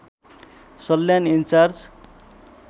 Salyan in charge